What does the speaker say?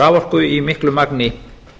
raforku í miklu magni